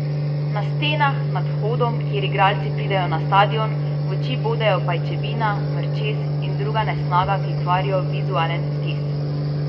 Na stenah nad vhodom, kjer igralci pridejo na stadion, v oči bodejo pajčevina, mrčes in druga nesnaga, ki kvarijo vizualen vtis.